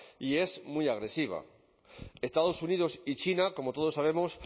y es muy agresiva estados unidos y china como todos sabemos